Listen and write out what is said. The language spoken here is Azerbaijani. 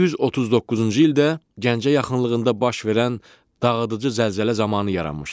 1139-cu ildə Gəncə yaxınlığında baş verən dağıdıcı zəlzələ zamanı yaranmışdır.